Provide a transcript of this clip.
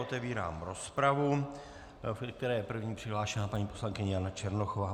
Otevírám rozpravu, do které je první přihlášena paní poslankyně Jana Černochová.